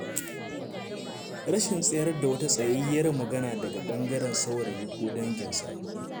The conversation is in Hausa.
Rashin tsayar da wata tsayayyiyar magana daga ɓangaren saurayi, ko danginsa.